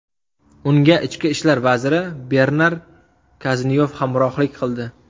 Unga ichki ishlar vaziri Bernar Kaznyov hamrohlik qildi.